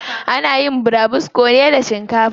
Ana yin burabusko ne da shinkafa.